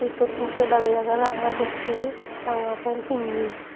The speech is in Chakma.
ekko tokke lageye ekke ranga tokke ranga pen pinne.